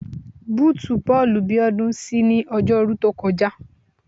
Bóòtù bọ́ọ̀lù Bíọ́dún ṣí ní Ọjọ́rú tó kọjá